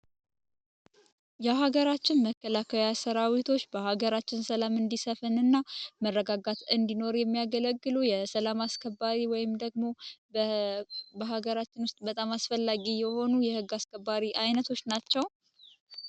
የሀገራችን መከላከያ ሠራዊቶች በአገራችን ሰላም እንዲሰፍንና መረጋጋት እንዲኖር የሚያገለግሉ የሰላም አስከባሪ ወይም ደግሞ በሀገራችን ውስጥ በጣም አስፈላጊ የሆኑ የህግ አስከባሪ አይነቶች ናቸው።